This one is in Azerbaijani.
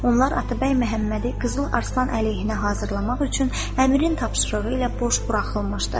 Onlar Atabəy Məhəmmədi Qızıl Arslan əleyhinə hazırlamaq üçün Əmirin tapşırığı ilə boş buraxılmışdı.